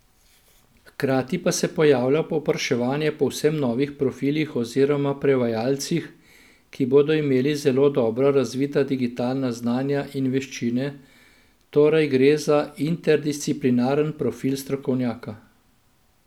Hkrati pa se pojavlja povpraševanje po povsem novih profilih oziroma prevajalcih, ki bodo imeli zelo dobro razvita digitalna znanja in veščine, torej gre za interdisciplinaren profil strokovnjaka.